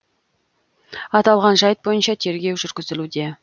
аталған жайт бойынша тергеу жүргізілуде